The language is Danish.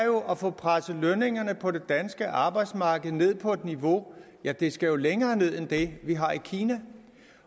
at få presset lønningerne på det danske arbejdsmarked ned på et lavere niveau ja det skal længere ned end det har i kina